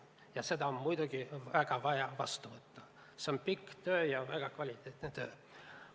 See eelnõu on muidugi väga vaja vastu võtta, selle taga on pikk töö ja väga kvaliteetne töö.